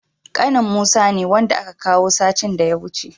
Ƙanin musa ne, wanda aka kawo satin da ya wuce.